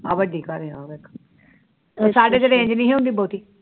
ਹਾਂ ਵੱਡ਼ੀ ਘਰ ਆ ਸਾਡੇ ਹੁੰਦੀ ਬਹੁਤੀ